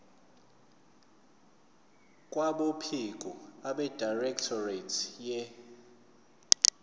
kwabophiko abedirectorate ye